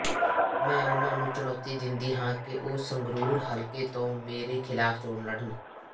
ਮੈਂ ਉਨ੍ਹਾਂ ਨੂੰ ਚੁਣੌਤੀ ਦਿੰਦੀ ਹਾਂ ਕਿ ਉਹ ਸੰਗਰੂਰ ਹਲਕੇ ਤੋਂ ਮੇਰੇ ਖਿਲਾਫ਼ ਚੋਣ ਲੜਨ